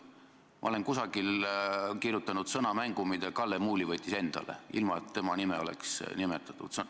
Ma olen kusagil kasutanud sõnamängu, mida Kalle Muuli pidas enda kohta käivaks, kuigi tema nime ei olnud nimetatud.